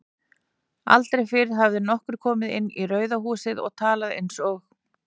Aldrei fyrr hafði nokkur komið inn í Rauða húsið og talað einsog